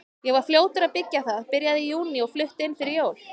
Ég var fljótur að byggja það, byrjaði í júní og flutti inn fyrir jól.